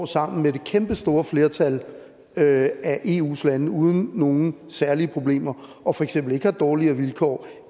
sammen med det kæmpestore flertal af eus lande står uden nogen særlige problemer og for eksempel ikke har dårligere vilkår